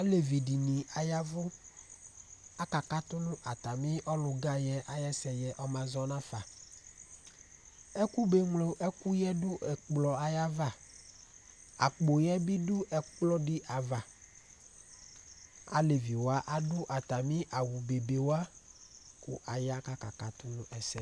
Alevi dìní ayavʋ Aka katu nʋ atami ɔlu oga yɛ ayʋ ɛsɛ yɛ ɔma zɔnʋ afa Ɛkʋ be nylo ɛkʋ yɛ yadu nʋ ɛkplɔ yɛ ayʋ ava Akpo yɛ bi du ɛkplɔ di ava Alevi wa adu atami awu be be wa kʋ aya kʋ aka katu nʋ ɛsɛ